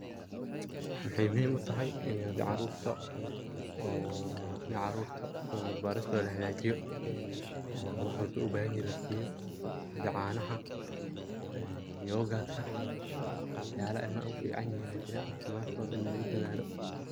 Maxay muhim utahay ini hadi carurta oo ini carurta soo barbaristoda lahagajiyo oo wax walbo oo ay ubahan yihin laasiyo sida caanaha ,ee yogatka waxyala ilmaha ufican yihin aya jira caafimadkod ini lugu dadaalo.